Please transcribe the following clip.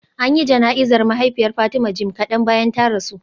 An yi jana'izar mahaifiyar Fatima jim kadan bayan ta rasu